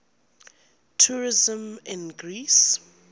tourism in greece